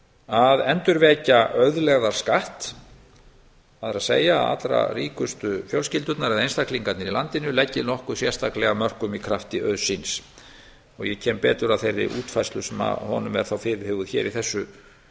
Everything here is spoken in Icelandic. að endurvekja auðlegðarskatt það er allra ríkustu fjölskyldurnar eða einstaklingarnir í landinu leggi nokkuð sérstaklega af mörkum í krafti auðs síns og ég kem betur að þeirri útfærslu sem að honum er þá fyrirhuguð í